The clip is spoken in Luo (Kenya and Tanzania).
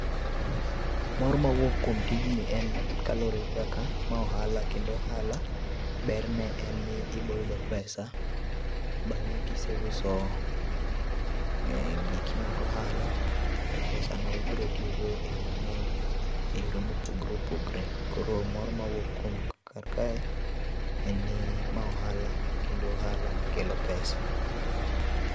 Mor mawuok kuom tijni en kaluwore gi kaka ma ohala, kendo ohala berne en ni iboyudo pesa, bang'e kiseuso giki mag ohala to pesano ibro tiyo go e yo mang 'eny,e yore mopogore opogore. Koro mor mawuok kar kae en ni ma ohala ,kendo ohala makelo pesa.